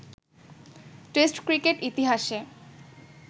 test cricket ইতিহাসে